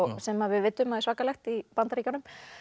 sem við vitum að er svakalegt í Bandaríkjunum